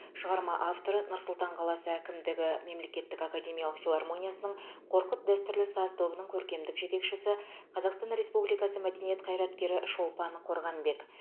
шығарма авторы нұр сұлтан қаласы әкімдігі мемлекеттік академиялық филармониясының қорқыт дәстүрлі саз тобының көркемдік жетекшісі қазақстан республикасы мәдениет қайраткері шолпан қорғанбек